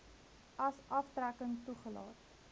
as aftrekking toegelaat